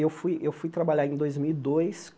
Eu fui eu fui trabalhar em dois mil e dois